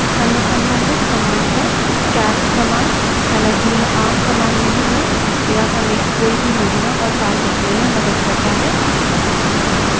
any संबंधित command है cal command हालाँकि यह आम command नहीं है यह हमें कोई भी महीना और साल देखने में मदद करता है